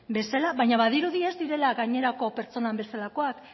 bezala baina badirudi ez direla gainerako pertsonen bezalakoak